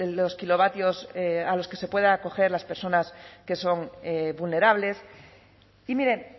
los kilovatios a los que se puedan acoger las personas que son vulnerables y miren